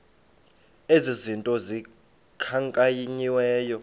ezi zinto zikhankanyiweyo